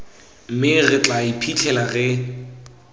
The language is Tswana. mme re tla iphitlhela re